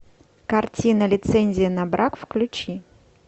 картина лицензия на брак включи